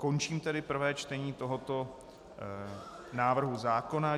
Končím tedy prvé čtení tohoto návrhu zákona.